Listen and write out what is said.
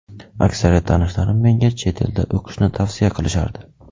Aksariyat tanishlarim menga chet elda o‘qishni tavsiya qilishardi.